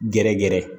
Gɛrɛ gɛrɛ